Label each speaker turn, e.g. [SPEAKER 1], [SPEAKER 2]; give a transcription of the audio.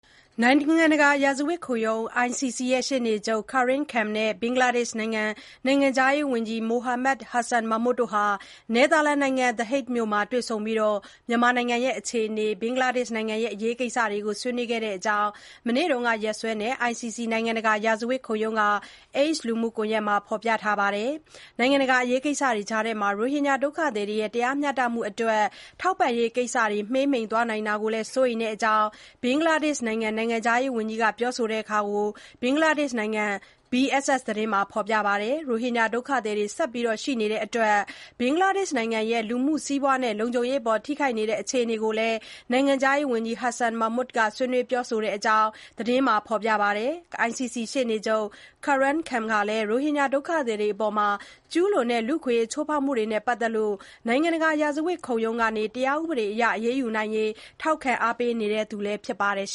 [SPEAKER 1] နိုင်ငံတကာ ရာဇဝတ်ခုံရုံး ICC ရှေ့နေချုပ် Karim Khan နဲ့ ဘင်္ဂလားဒေ့ရှ်နိုင်ငံ နိုင်ငံခြားရေးဝန်ကြီး Mohammed Hasan Mahmud တို့ နယ်သာလန်နိုင်ငံ The Hague မြို့မှာ တွေ့ဆုံပြီး မြန်မာနိုင်ငံအခြေအနေနဲ့ ဘင်္ဂလားဒေ့ရှ်နိုင်ငံ အရေးကိစ္စတွေ ဆွေးနွေးတဲ့အကြောင်း မနေ့က နေ့စွဲနဲ့ ICC နိုင်ငံတကာ ရာဇဝတ်ခုံရုံးက X လူမှုကွန်ယက်မှာ ရေးသားထားပါတယ်။ နိုင်ငံတကာ အရေးကိစ္စတွေကြားမှာ ရိုဟင်ဂျာ ဒုက္ခသည်တွေရဲ့ တရားမျှတမှုအတွက် ထောက်ပံ့ရေးကိစ္စတွေ မှေးမှိန်သွားတာကို စိုးရိမ်တဲ့အကြောင်း ဘင်္ဂလားဒေ့ရှ်နိုင်ငံ နိုင်ငံခြားရေးဝန်ကြီး Mohammed Hasan Mahmud က ပြောဆိုတာကို ဘင်္ဂလားဒေ့ရှ်နိုင်ငံ BSS သတင်းမှာလည်း ဖေါ်ပြပါတယ်။ ရိုဟင်ဂျာ ဒုက္ခသည်တွေ ဆက်ရှိနေတဲ့အတွက် ဘင်္ဂလားဒေ့ရှ်နိုင်ငံရဲ့ လူမှုစီးပွားနဲ့ လုံခြုံရေးအပေါ် ထိခိုက်နေတဲ့ အခြေအနေတွေကို နိုင်ငံခြားရေးဝန်ကြီး Mohammed Hasan Mahmud ဆွေးနွေးပြောဆိုတဲ့အကြောင်း သတင်းမှာ ဖေါ်ပြပါတယ်။ ICC ရှေ့နေချုပ် Karim Khan ဟာ ရိုဟင်ဂျာ ဒုက္ခသည်တွေအပေါ် ကျုးလွန်တဲ့ လူ့အခွင့်အရေးချိုးဖေါက်မှုတွေနဲ့ ပတ်သက်လို့ နိုင်ငံတကာ ရာဇဝတ်ခုံရုံးကနေ တရားဥပဒေအရ အရေးယူနိုင်ရေး ထောက်ခံအားပေးနေသူ ဖြစ်ပါတယ်။